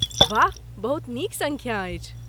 वाह, बहुत नीक संख्या अछि!